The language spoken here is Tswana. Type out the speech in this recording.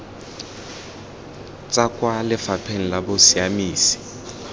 tswa kwa lefapheng la bosiamisi